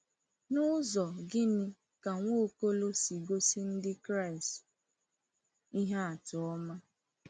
N’ụzọ gịnị ka Nwaokolo si gosi Ndị Kraịst ihe atụ ọma?